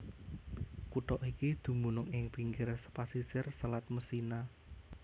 Kutha iki dumunung ing pinggir pasisir Selat Messina